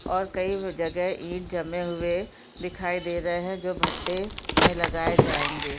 और कई जगह ईंट जमे हुए दिखाई दे रहे हैं जो भट्टे में लगाए जाऐंगे।